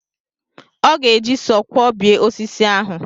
Ọ ga-eji sọọ kwọbie osisi ahụ.